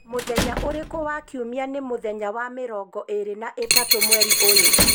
mũthenya ũrĩkũ wa kiumia nĩ muthenya wa mirongo ĩĩrĩ na ĩtatũ mweri ũyũ